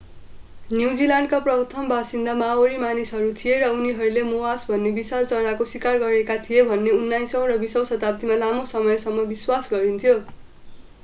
न्युजिल्यान्डका प्रथम बासिन्दा माओरी मानिसहरू थिए र उनीहरूले मोआस भन्ने विशाल चराको शिकार गरेका थिए भन्ने उन्नाइसौं र बीसौं शताब्दीमा लामो समयसम्म विश्वास गरिन्थ्यो